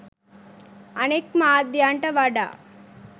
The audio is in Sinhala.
අනෙක් මාධ්‍යන්ට වඩා